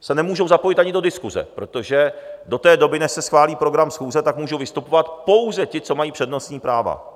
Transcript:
se nemůžou zapojit ani do diskuse, protože do té doby, než se schválí program schůze, tak můžou vystupovat pouze ti, co mají přednostní práva.